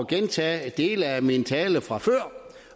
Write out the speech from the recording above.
gentage dele af min tale fra før